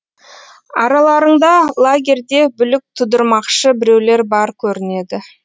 араларыңда лагерде бүлік тудырмақшы біреулер бар көрінеді